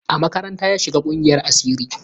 A makaranta ya shiga ƙungiyar asiri.